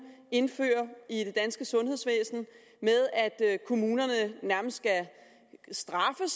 indfører i det danske sundhedsvæsen med at kommunerne nærmest skal straffes